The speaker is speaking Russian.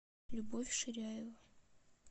любовь ширяева